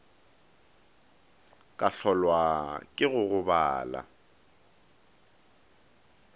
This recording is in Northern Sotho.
ka hlolwa ke go gobala